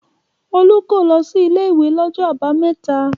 Olú kò lọ sí ilé-ìwé lọ́jọ́ àbámẹ́ta.